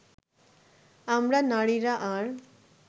আমরা নারীরা আর